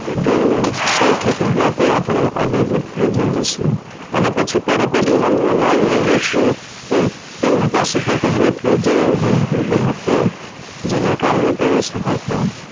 જોઈ ને સૌથી પેલા તો આપડે અભિભૂત થઇ જઈએ છીએ અને પછી તરત જ મન મનાવી લઈએ છીએ કે તેમની પાસે તો પહેલે થી જ એવું ગણું હતું જેના કારણે તેઓ સફળ થયા